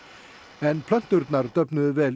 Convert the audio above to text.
en plönturnar döfnuðu vel